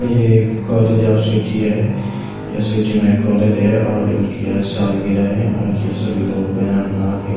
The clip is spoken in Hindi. ये एक कॉलेज आफ सिटी है या सिटी में कॉलेज है और उनकी आज सालगिरह है और ये सभी लोग बैनर बना के--